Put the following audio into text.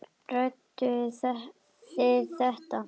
Ræddu þið þetta?